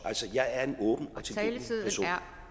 jeg er en åben